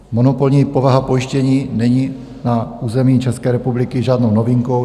Monopolní povaha pojištění není na území České republiky žádnou novinkou.